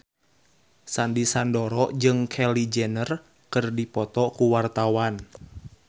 Sandy Sandoro jeung Kylie Jenner keur dipoto ku wartawan